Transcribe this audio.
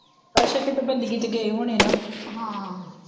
ਅੱਛਾ ਕੀਤੇ ਬੰਦੇ ਕੀਤੇ ਗਏ ਹੋਣੇ ਨਾਂ ਹਾਂ,